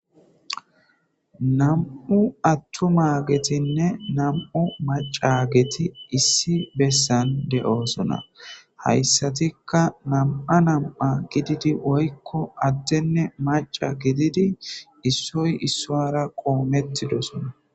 Nam'u attumagetinne nam'o macageti issi bessan de'osona hayssatikka nam7' nam7a gididi woykko adtenne maca gididi issoy issoara qoomettidosona